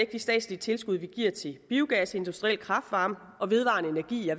de statslige tilskud vi giver til biogas industriel kraft varme og vedvarende energi